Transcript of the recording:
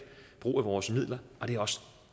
brug af vores midler og det er også